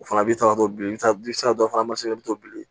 O fana b'i ta ka to bilen sira dɔ fana i bɛ to bilen